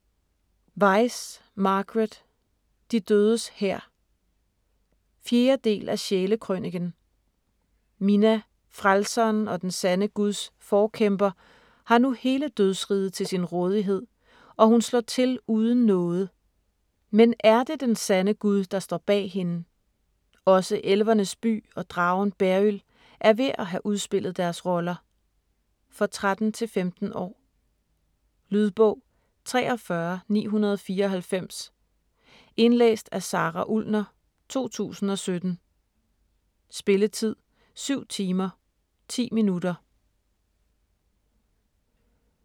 Weis, Margaret: De dødes hær 4. del af Sjæle-krøniken. Mina, frelseren og den sande Guds forkæmper har nu hele dødsriget til sin rådighed, og hun slår til uden nåde. Men ér det den sande Gud der står bag hende? Også elvernes by og dragen Beryld er ved at have udspillet deres roller. For 13-15 år. Lydbog 43994 Indlæst af Sara Ullner, 2017. Spilletid: 7 timer, 10 minutter.